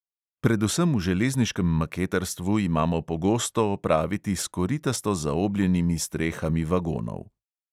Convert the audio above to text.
Predvsem v železniškem maketarstvu imamo pogosto opraviti s koritasto zaobljenimi strehami vagonov.